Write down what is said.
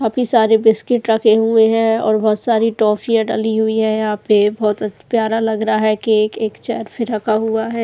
काफी सारे बिस्किट रखे हुए हैं और बहुत सारी टोफिया डली हुई है यहां पे बहुत प्यारा लग रहा है केक ऐक चेर भी रखा हुआ है।